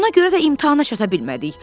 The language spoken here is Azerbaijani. Ona görə də imtahana çata bilmədik.